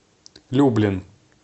люблин